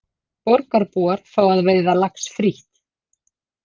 Borgarbúar fá að veiða lax frítt